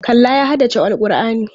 Kallah ya haddace Al'kur'ani.